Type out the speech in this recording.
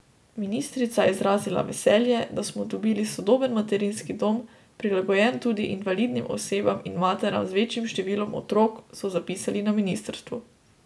Ministrica je izrazila veselje, da smo dobili sodoben materinski dom, prilagojen tudi invalidnim osebam in materam z večjim številom otrok, so zapisali na ministrstvu.